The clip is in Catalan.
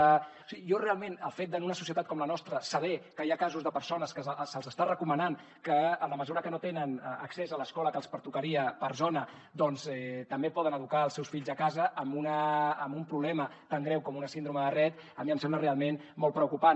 o sigui jo realment el fet en una societat com la nostra de saber que hi ha casos de persones que se’ls està recomanant que en la mesura que no tenen accés a l’escola que els pertocaria per zona doncs també poden educar els seus fills a casa amb un problema tan greu com una síndrome de rett a mi em sembla realment molt preocupant